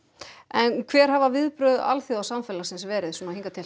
en hver hafa viðbrögð alþjóðasamfélagsins verið